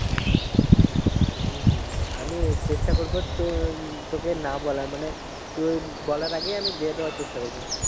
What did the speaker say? হম হম আমি চেষ্টা করবো তোকে না বলার মানে তুই বলার আগেই আমি দিয়ে দেওয়ার চেষ্টা করবো।